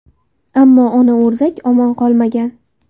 Ammo ona o‘rdak omon qolmagan.